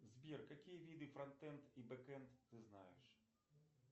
сбер какие виды фронтэнд и бэкэнд ты знаешь